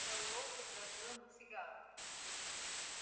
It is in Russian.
мэллоу предложил ему сигару